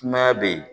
Sumaya be yen